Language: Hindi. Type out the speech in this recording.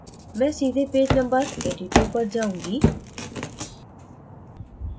मैं सीधे पेज number 82 पर जाऊँगी